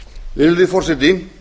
virðulegi forseti